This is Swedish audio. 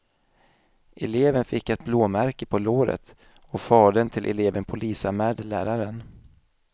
Eleven fick ett blåmärke på låret och fadern till eleven polisanmälde läraren.